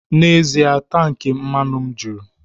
N'ezie, tank mmanụ m juru